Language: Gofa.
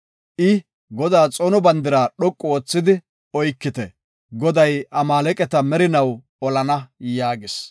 I, “Godaa xoono Bandira dhoqu oothidi oykite. Goday Amaaleqata merinaw olana” yaagis.